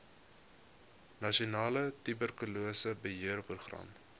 nasionale tuberkulose beheerprogram